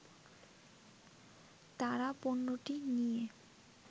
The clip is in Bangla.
তারা পণ্যটি নিয়ে